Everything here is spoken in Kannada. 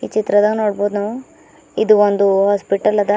ಚಿತ್ರದ ನೋಡಬಹುದು ನಾವು ಇದು ಒಂದು ಹಾಸ್ಪಿಟಲ್ ಅದ.